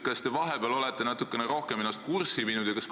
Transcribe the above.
Kas te vahepeal olete sellega natukene rohkem ennast kurssi viinud?